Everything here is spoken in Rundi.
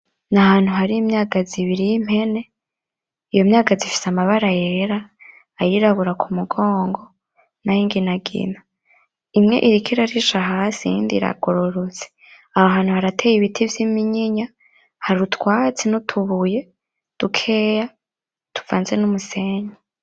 N'Ahantu hari imyagaziibiri y'Impene, iyo myagazi ifise mabara yera ayirabura kumugongo, nayingingina, imwe iriko irarisha hasi iyindi iragororotse aho hantu harateye Ibiti vy'iminyinya, hari utwatsi n'utubuye dukeya tuvanze n'umusenyi.